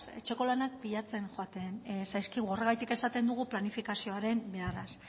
etxeko lanak pikatzen joaten zaizkigu horregatik esaten dugu planifikazioaren beharraz